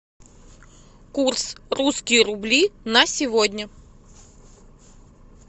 курс русские рубли на сегодня